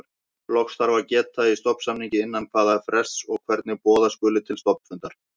Loks þarf að geta í stofnsamningi innan hvaða frests og hvernig boða skuli til stofnfundar.